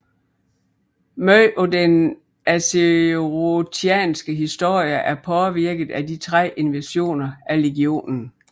Meget af den azerothianske historie er påvirket af de tre invasioner af legionen